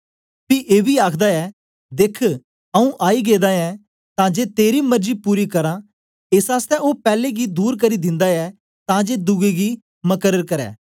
पी एबी आखदा ऐ देख आऊँ आई गेदा ऐं तां जे तेरी मर्जी पूरी करां एस आसतै ओ पैले गी दूर करी दिन्दा ऐ तां जे दुए गी मकर्र करै